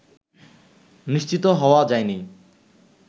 নিশ্চিত হওয়া যায়নি